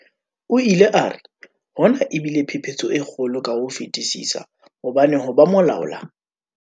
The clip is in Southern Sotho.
O ile a re, "Hona e bile phephetso e kgolo ka ho fetisisa hobane ho ba molaola"